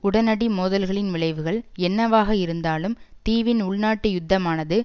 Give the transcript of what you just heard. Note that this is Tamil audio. உடனடி மோதல்களின் விளைவுகள் என்னவாக இருந்தாலும் தீவின் உள்நாட்டு யுத்தமானது